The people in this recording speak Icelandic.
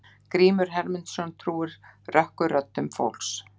Grímur Hermundsson trúir rökkurröddum fólks.